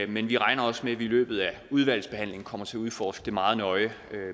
men vi regner også med at vi i løbet af udvalgsbehandlingen kommer til at udforske det meget nøje